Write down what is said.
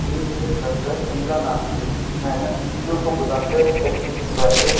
ये मेरे घर पर शीलन आ रही थी मैंने मित्रियों को बुलाकर पट्टी खिंचवाई है।